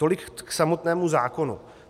Tolik k samotnému zákonu.